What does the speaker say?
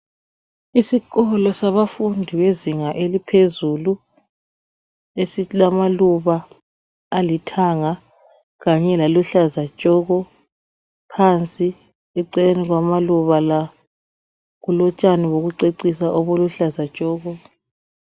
Isikolo sabafundi bezinga eliphezulu esilamaluba alithanga laluhlaza tshoko. Phansi eceleni kwamaluba la kulotshani bokucecisa obuluhlaza tshoko